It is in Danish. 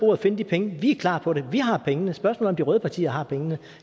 og finde de penge vi er klar på det vi har pengene spørgsmålet de røde partier har pengene